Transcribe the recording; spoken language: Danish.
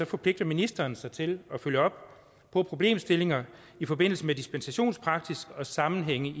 forpligter ministeren sig til at følge op på problemstillinger i forbindelse med dispensationspraksis og sammenhænge i